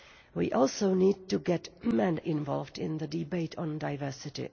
We also need to get men involved in the debate on diversity.